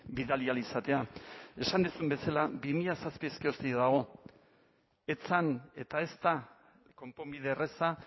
bidali ahal izatea esan duzun bezala bi mila zazpiaz geroztik dago ez zen eta ez da konponbide erraza